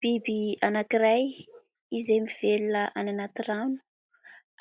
Biby anankiray, izay mivelona any anaty rano.